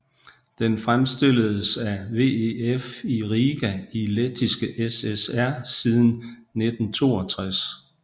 Den fremstilledes af VEF i Riga i Lettiske SSR siden 1962